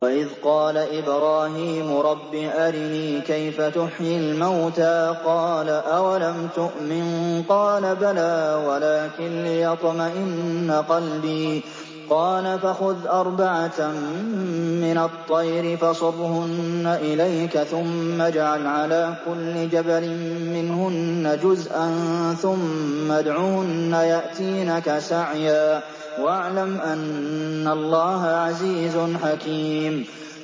وَإِذْ قَالَ إِبْرَاهِيمُ رَبِّ أَرِنِي كَيْفَ تُحْيِي الْمَوْتَىٰ ۖ قَالَ أَوَلَمْ تُؤْمِن ۖ قَالَ بَلَىٰ وَلَٰكِن لِّيَطْمَئِنَّ قَلْبِي ۖ قَالَ فَخُذْ أَرْبَعَةً مِّنَ الطَّيْرِ فَصُرْهُنَّ إِلَيْكَ ثُمَّ اجْعَلْ عَلَىٰ كُلِّ جَبَلٍ مِّنْهُنَّ جُزْءًا ثُمَّ ادْعُهُنَّ يَأْتِينَكَ سَعْيًا ۚ وَاعْلَمْ أَنَّ اللَّهَ عَزِيزٌ حَكِيمٌ